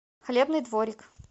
хлебный дворик